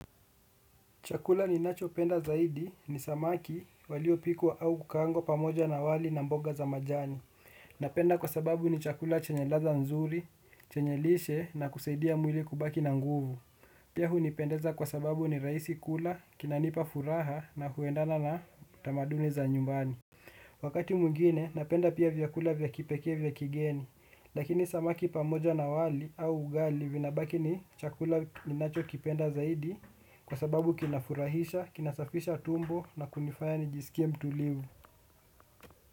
Chakula ninacho penda zaidi ni samaki walio pikwa au kukaangwa pamoja na wali na mboga za majani. Napenda kwa sababu ni chakula chanye ladha nzuri, chenye lishe na kusaidia mwili kubaki na nguvu. Pia hunipendeza kwa sababu ni raisi kula, kinanipa furaha na huendana na tamaduni za nyumbani. Wakati mwingine napenda pia vyakula vya kipekee vya kigeni. Lakini samaki pamoja na wali au ugali vinabaki ni chakula ninacho kipenda zaidi kwa sababu kinafurahisha, kinasafisha tumbo na kunifaya nijisikie mtulivu.